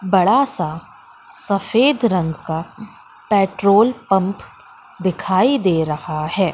बड़ा सा सफेद रंग का पेट्रोल पंप दिखाई दे रहा है।